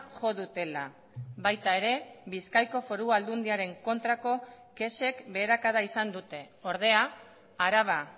jo dutela baita ere bizkaiko foru aldundiaren kontrako kexek beherakada izan dute ordea araba